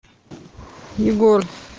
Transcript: егор